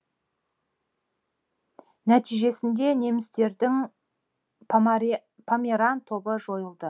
нәтижесінде немістердің померан тобы жойылды